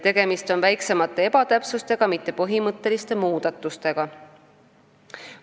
Tegemist on väiksemate ebatäpsustega, mitte põhimõtteliste muudatustega.